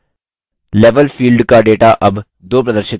level field का data अब 2 प्रदर्शित कर रहा है